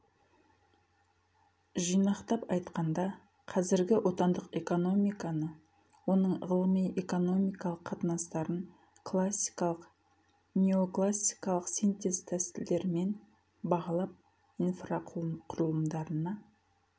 жинақтап айтқанда қазіргі отандық экономиканы оның ғылыми экономикалық қатынастарын классикалық неоклассикалық синтез тәсілдерімен бағалап инфрақұрылымдарына